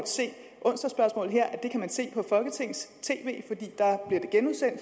se det på folketings tv